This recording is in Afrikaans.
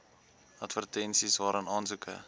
advertensies waarin aansoeke